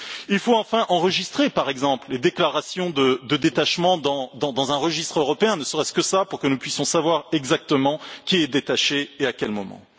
Il faut enfin enregistrer, par exemple, les déclarations de détachement dans un registre européen, ne serait ce que cela, pour que nous puissions savoir exactement qui est détaché et à quel moment.